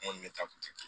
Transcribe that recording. N kɔni bɛ taa kun